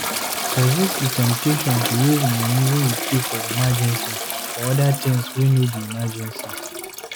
Resist di temptation to use money wey you keep for emergency for oda things wey no be emergency